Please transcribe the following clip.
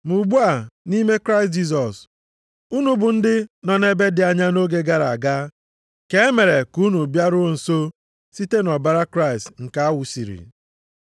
Ma ugbu a nʼime Kraịst Jisọs, unu bụ ndị nọ nʼebe dị anya nʼoge gara aga, ka e mere ka unu bịaruo nso site nʼọbara Kraịst nke a wụsiri.